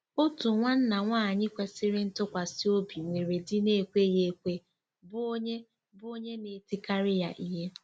Otu nwanna nwaanyị kwesịrị ntụkwasị obi nwere di na-ekweghị ekwe, bụ́ onye, bụ́ onye na-etikarị ya ihe.